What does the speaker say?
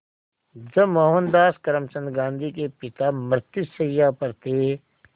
जब मोहनदास करमचंद गांधी के पिता मृत्युशैया पर थे